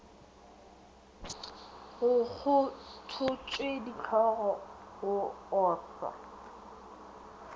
go kgothotšwe dihlogo go ohlwa